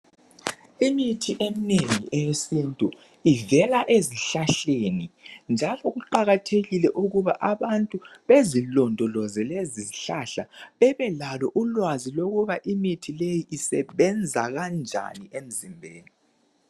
Imithi eminengi eyesintu ivela ezihlahleni, njalo kuqakathekile ukuba abantu bezilondoloze lezizihlahla bebelalo ulwazi lokuba imithi leyi isebenza kanjani emzimbeni.